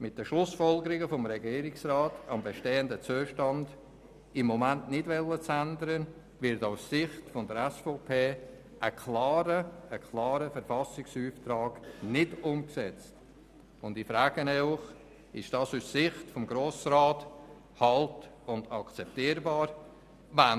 Mit der Schlussfolgerung des Regierungsrats, am bestehenden Zustand im Moment nichts ändern zu wollen, wird aus Sicht der SVP ein klarer Verfassungsauftrag nicht umgesetzt, und ich frage Sie, ob dies aus Sicht des Grossen Rats halt- und akzeptierbar ist.